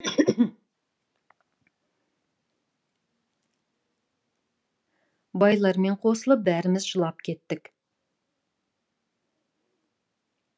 байлармен қосылып бәріміз жылап кеттік